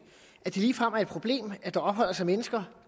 at det ligefrem er et problem at der opholder sig mennesker